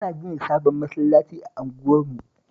Ana gina sabon masallaci a unguwarmu